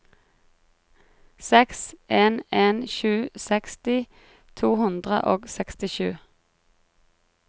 seks en en sju seksti to hundre og sekstisju